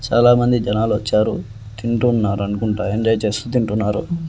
చాలామంది జనాలు వచ్చారు తింటున్నారనుకుంటా ఎంజాయ్ చేస్తూ తింటున్నారు.